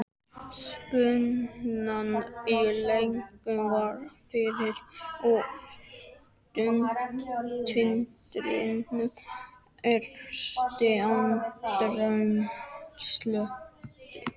Spennan í loftinu var rafmögnuð og taugatitringurinn hristi andrúmsloftið.